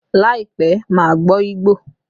Láìpẹ́, màá gbọ́ Igbo